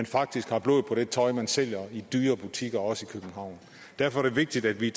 faktisk har blod på det tøj man sælger i dyre butikker også i københavn derfor er det vigtigt at vi